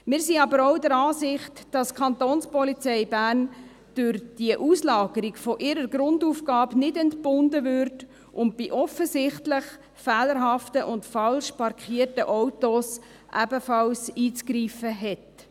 Wir sind aber auch der Ansicht, dass die Kapo durch diese Auslagerung von ihrer Grundaufgabe nicht entbunden wird und bei offensichtlich fehlerhaften und falsch parkierten Autos ebenfalls einzugreifen hat.